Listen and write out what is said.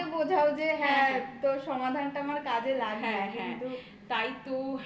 তাকে বোঝাও যে হ্যাঁ তো সমাধানটা আমার কাজে লাগে।